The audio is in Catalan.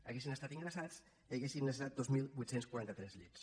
haguessin estat ingressats haurien necessitat dos mil vuit cents i quaranta tres llits